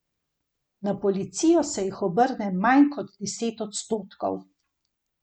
Na policijo se jih obrne manj kot deset odstotkov.